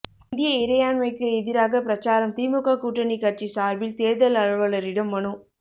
இந்திய இறையாண்மைக்கு எதிராக பிரசாரம் திமுக கூட்டணி கட்சி சார்பில் தேர்தல் அலுவலரிடம் மனு